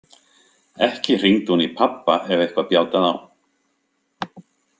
Ekki hringdi hún í pabba ef eitthvað bjátaði á.